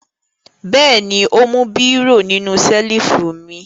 Bẹ́ẹ̀ ni, ó mú bírò nínú ṣẹ́lífù mi.